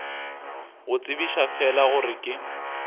go tsebiša fela gore ke